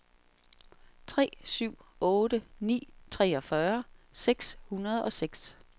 tre syv otte ni treogfyrre seks hundrede og seks